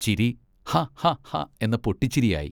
ചിരി ഹാ ഹാ ഹാ എന്ന പൊട്ടിച്ചിരിയായി.